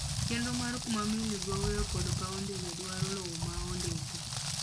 Chenro mar kuma meli gowoe kod paw ndege dwaro lowo ma ondiki.